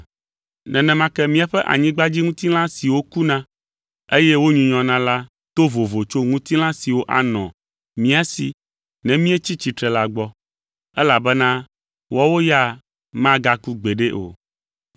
Nenema ke míaƒe anyigbadziŋutilã siwo kuna, eye wonyunyɔna la to vovo tso ŋutilã siwo anɔ mía si ne míetsi tsitre la gbɔ, elabena woawo ya magaku gbeɖe o.